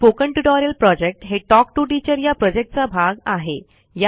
spoken tutorial project हे talk to teacher या प्रॉजेक्टचा भाग आहे